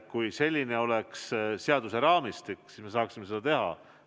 Kui selline oleks seaduse raamistik, siis me saaksime seda teha.